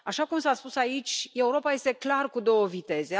Așa cum s a spus aici, Europa este clar cu două viteze.